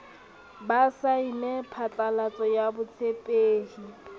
ba saene phatlalatso ya botshepehi